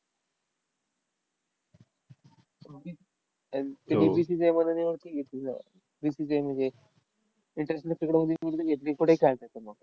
ते वीस-वीस वरती घेतलं. वीस-वीस म्हणजे international cricket मध्ये घेत नाही. कोठेही खेळायचं मग.